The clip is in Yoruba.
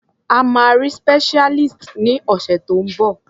A máa rí specialist ní ọ̀sẹ̀ tó ń bọ̀.